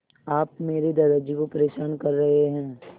आप मेरे दादाजी को परेशान कर रहे हैं